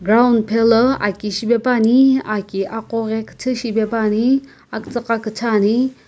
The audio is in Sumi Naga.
ground phalii aki shipaepane aki akoghi kiithii shipaepane aktsii gha kiithii ame.